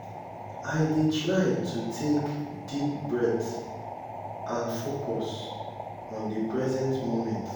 i dey try to take deep breath and focus on di present moment.